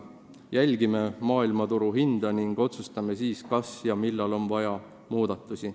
Me jälgime maailmaturu hindu ning otsustame siis, kas ja millal on vaja teha muudatusi.